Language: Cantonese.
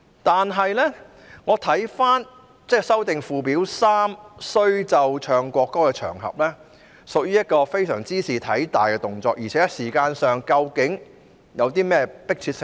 但是，如果要對附表3所列"須奏唱國歌的場合"作出修訂，這屬於一個茲事體大的動作，而且在時間上究竟有何迫切性呢？